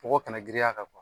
Bɔgɔ kana giriny'a kan